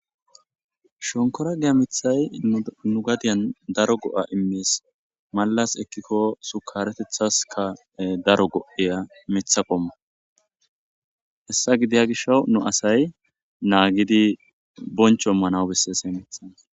Shonikorogey mithayi nu gadeyan daro go'a imes malas ekiko shukaretethaska daro go'eya mithako hesa gisho daro asay nagidi bonicho imanawu beses